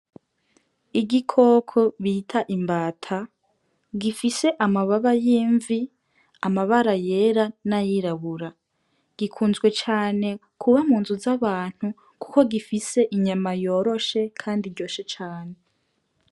Igikoko bita imbata gifise amababa y'imvi, amabara yera n'ayirabura. Gikunze cane kuba mu nzu z'abantu kuko gifise inyama yoroshe kandi iryoshe cane.